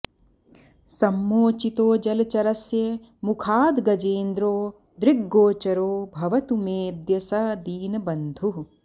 सम्मोचितो जलचरस्य मुखाद्गजेन्द्रो दृग्गोचरो भवतु मेऽद्य स दीनबन्धुः